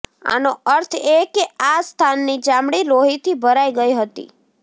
આનો અર્થ એ કે આ સ્થાનની ચામડી લોહીથી ભરાઈ ગઈ હતી